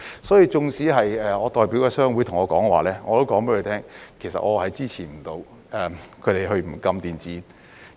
所以，縱使我代表的商會對我說，我亦告訴他們，其實我無法支持他們不禁電子煙。